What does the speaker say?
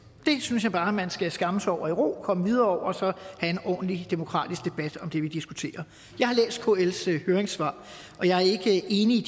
det synes jeg bare man skal skamme sig over i ro komme videre fra og så have en ordentlig demokratisk debat om det vi diskuterer jeg har læst kls høringssvar og jeg er ikke enig